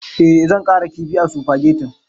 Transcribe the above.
Eh zan ƙara kifi a supagetin.